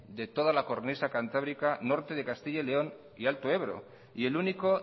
de toda la cornisa cantábrica norte de castilla y león y alto ebro y el único